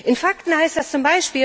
In Fakten heißt das z.